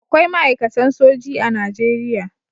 Akwai ma'aikatan soji a Najeriya